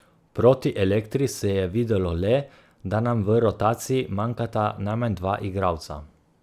Proti Elektri se je videlo le, da nam v rotaciji manjkata najmanj dva igralca.